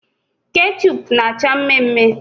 Kechup na acha mme mme